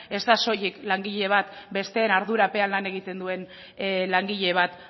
ez da soilik langile bat besteen ardurapean lan egiten duen langile bat